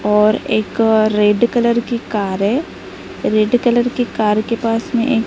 और एक red colour की कार है रेड कलर की कार के पास में एक--